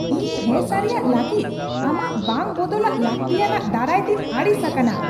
ᱤᱧ ᱦᱮᱸᱥᱟᱹᱨᱤᱭᱟᱜ ᱞᱟᱹᱜᱤᱫ ᱟᱢᱟᱜ ᱵᱟᱝ ᱵᱚᱫᱚᱞᱟᱜ ᱞᱟᱹᱠᱛᱤᱭᱟᱱᱟᱜ ᱫᱟᱨᱟᱭᱛᱤᱧ ᱟᱹᱲᱤᱥ ᱟᱠᱟᱱᱟ ᱾